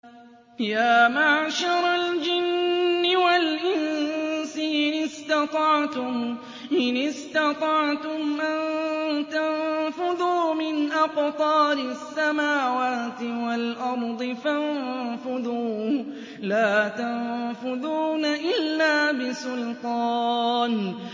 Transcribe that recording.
يَا مَعْشَرَ الْجِنِّ وَالْإِنسِ إِنِ اسْتَطَعْتُمْ أَن تَنفُذُوا مِنْ أَقْطَارِ السَّمَاوَاتِ وَالْأَرْضِ فَانفُذُوا ۚ لَا تَنفُذُونَ إِلَّا بِسُلْطَانٍ